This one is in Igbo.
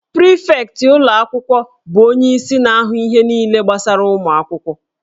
Prịfektị ụlọ akwụkwọ bụ onyeisi na-ahụ ihe niile gbasara ụmụ akwụkwọ